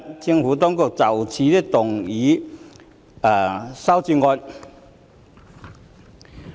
政府當局會就此動議修正案。